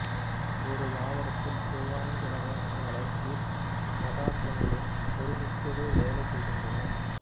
ஒரு தாவரத்தில் இவ்வைந்து வகையான வளர்ச்சிப் பதார்த்தங்களும் ஒருமிக்கவே வேலை செய்கின்றன